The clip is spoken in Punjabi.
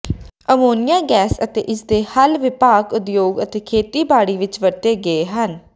ਅਮੋਨੀਆ ਗੈਸ ਅਤੇ ਇਸ ਦੇ ਹੱਲ ਵਿਆਪਕ ਉਦਯੋਗ ਅਤੇ ਖੇਤੀਬਾੜੀ ਵਿਚ ਵਰਤੇ ਗਏ ਹਨ